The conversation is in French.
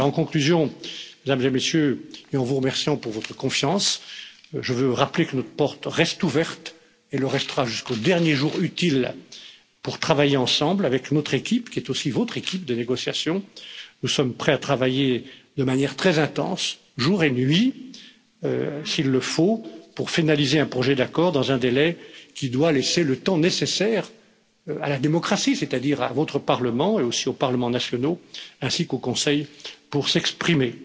En conclusion, Mesdames et Messieurs, et en vous remerciant pour votre confiance, je veux rappeler que notre porte reste ouverte et le restera jusqu'au dernier jour utile, pour travailler ensemble avec notre équipe, qui est aussi votre équipe de négociation. Nous sommes prêts à travailler de manière très intense, jour et nuit s'il le faut, pour finaliser un projet d'accord dans un délai qui doit laisser le temps nécessaire à la démocratie, c'est à dire à votre Parlement et aussi aux parlements nationaux ainsi qu'au Conseil, pour s'exprimer.